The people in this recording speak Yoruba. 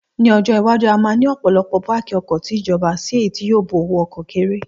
Ní ọjọ́ iwájú, a máa ní ọ̀pọ̀lọpọ̀ páàkì ọkọ̀ ti ìjọba si èyí tí yóò bu owó ọkọ̀ kéré